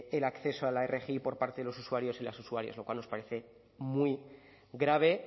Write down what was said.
el acceso a la rgi por parte de los usuarios y las usuarias lo cual nos parece muy grave